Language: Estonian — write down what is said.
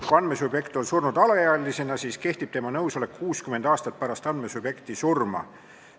Kui andmesubjekt on surnud alaealisena, siis kehtib tema nõusolek 60 aastat pärast andmesubjekti surma.